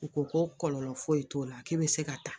U ko ko kɔlɔlɔ foyi t'o la k'e bɛ se ka taa